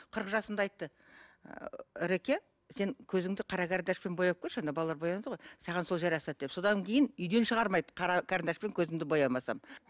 қырық жасымда айтты ы ыреке сен көзіңді қара карандашпен бояп көрші балалар бояды ғой саған сол жарасады деп содан кейін үйден шығармайды қара карандашпен көзімді боямасам